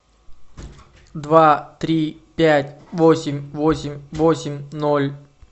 два три пять восемь восемь восемь ноль